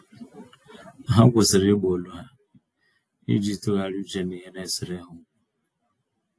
Ha kwụsịrị Ịgba olu ha, iji tụgharịa uche n'ihe naesere ha ókwú